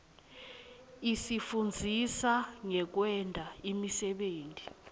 isifundzisa ngekwenta imisebenti